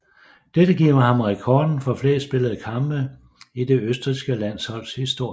Dette giver ham rekorden for flest spillede kampe i det østrigske landsholds historie